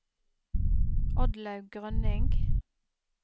Oddlaug Grønning